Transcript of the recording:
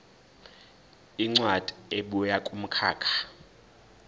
incwadi ebuya kumkhakha